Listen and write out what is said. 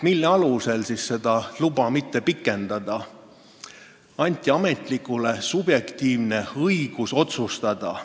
Ametnikule anti subjektiivne õigus otsustada.